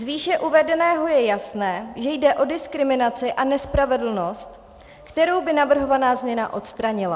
Z výše uvedeného je jasné, že jde o diskriminaci a nespravedlnost, kterou by navrhovaná změna odstranila.